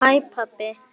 HÆ PABBI!